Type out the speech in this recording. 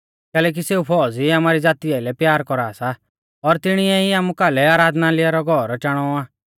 कैलैकि सेऊ फौज़ी आमारी ज़ाती आइलै प्यार कौरा सा और तिणीऐ ई आमु कालै आराधनालय रौ घौर चाणौ आ